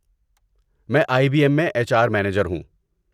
میں I B M میں H R manager ہوں۔